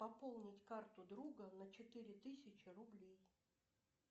пополнить карту друга на четыре тысячи рублей